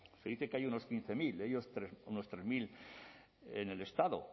se dice que hay unos quince mil de ellos unos tres mil en el estado